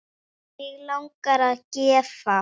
Mig langar að gefa.